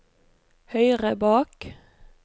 høyre bak